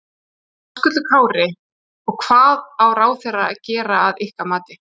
Höskuldur Kári: Og hvað á ráðherra að gera að ykkar mati?